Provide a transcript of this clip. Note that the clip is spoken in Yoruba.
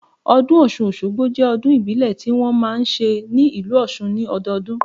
Ọdún Ọ̀ṣun Òṣogbo jẹ́ ọdún ìbílẹ̀ ti wọn máa ń ṣe ní ìlú Òṣun ni ọdọọdún